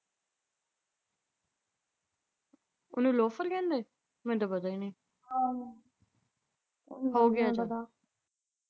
ਉਹਨੂੰ ਲੋਫਰ ਕਹਿੰਦੇ ਮੈਨੂੰ ਤਾਂ ਪਤਾ ਈ ਨਈ ਆਹੋ ਤੈਨੂੰ ਕਿਵੇਂ ਪਤਾ।